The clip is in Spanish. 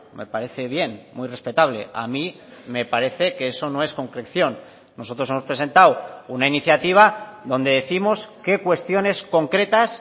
me parece bien muy respetable a mí me parece que eso no es concreción nosotros hemos presentado una iniciativa donde décimos qué cuestiones concretas